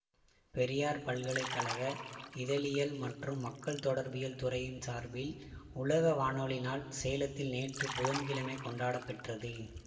பெரியார் பல்கலை கழக இதழியல் மற்றும் மக்கள் தொடர்பியல் துறையின் சார்பில் உலக வானொலி நாள் சேலத்தில் நேற்று புதன்கிழமை கொண்டாடப்பெற்றது